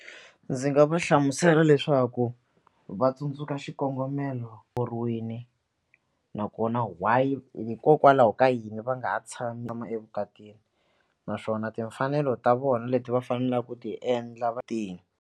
Ndzi nga va hlamusela leswaku va tsundzuka xikongomelo nakona why hikokwalaho ka yini va nga ha tshami evukatini naswona timfanelo ta vona leti va faneleke ku ti endla va .